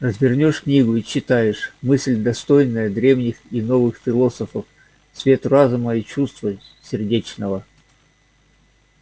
развернёшь книгу и читаешь мысль достойная древних и новых философов цвет разума и чувства сердечного